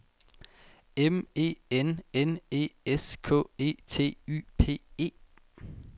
M E N N E S K E T Y P E